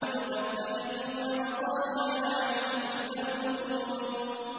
وَتَتَّخِذُونَ مَصَانِعَ لَعَلَّكُمْ تَخْلُدُونَ